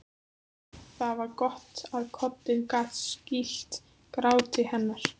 Það var gott að koddinn gat skýlt gráti hennar.